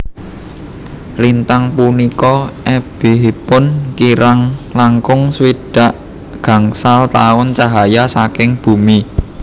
Lintang punika ebihipun kirang langkung swidak gangsal taun cahya saking bumi